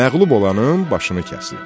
Məğlub olanın başını kəsirdi.